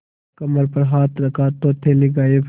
कमर पर हाथ रखा तो थैली गायब